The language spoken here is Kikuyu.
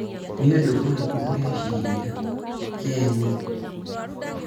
nĩũndũ ũrĩkũ ũreciria ,Ken?